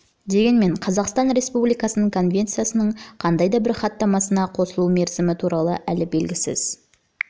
дегенмен қазақстан республикасының конвенцияның қандай да бір хаттамасына қосылу мерзімі туралы әлі белгісіз